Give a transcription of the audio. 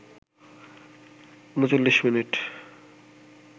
৩৯ মিনিটে